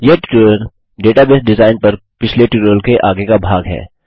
यह tutorial database design पर पिछले ट्यूटोरियल के आगे का भाग है